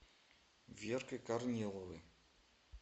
веркой корниловой